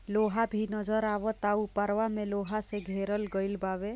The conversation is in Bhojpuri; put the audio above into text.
लोहा भी नजर आवता उपरवा मे लोहे से घेरल गइल बावे।